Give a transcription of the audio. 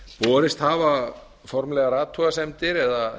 borist hafa formlegar athugasemdir eða